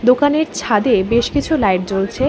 দোকানের ছাদে বেশ কিছু লাইট জ্বলছে।